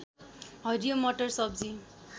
हरियो मटर सब्जी